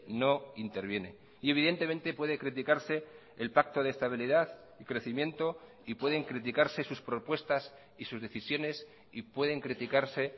no interviene y evidentemente puede criticarse el pacto de estabilidad y crecimiento y pueden criticarse sus propuestas y sus decisiones y pueden criticarse